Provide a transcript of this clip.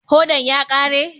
Hodan ya kare?